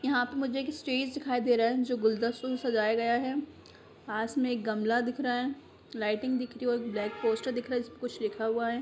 यहा पे मुझे स्टेज दिखाई दे रहा है जो गुलदसुल सजाया गया है पास में एक गमला दिख रहा है लाइटिंग दिख रही है और ब्लैक पोस्टर दिख रहा है जिसमे कुछ लिखा हुआ है।